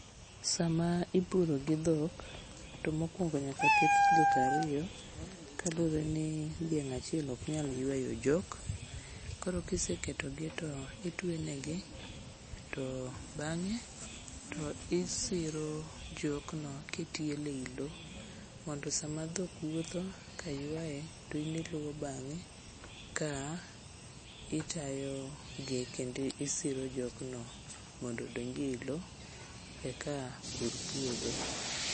Sama ipuro gi dhok to mokwongo nyaka ket dhok ariyo kaluwre ni dhiang' achiel oknyal ywayo jok, koro kiseketogi to itwenegi to bang'e to isiro jokno kitiele e i lo mondo sama dhok wuotho ka ywaye to in iluwo bang'e ka itayogi kendo isiro jokno mondo odonj e i lo eka pur puodho.